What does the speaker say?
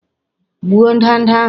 Gbuo ndanda ahụ!